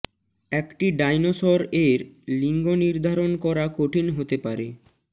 একটি ডাইনোসর এর লিঙ্গ নির্ধারণ করা কঠিন হতে পারে